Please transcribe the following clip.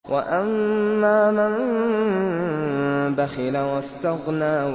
وَأَمَّا مَن بَخِلَ وَاسْتَغْنَىٰ